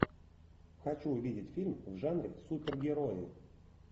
хочу увидеть фильм в жанре супергерои